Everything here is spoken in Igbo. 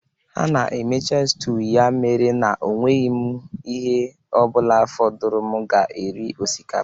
Ha na-emecha stew ya mere na enweghị m ihe ọ bụla fọdụrụ m ga-eri osikapa